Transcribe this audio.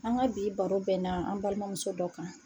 An ka bi baro bɛna an balimamuso dɔ kan.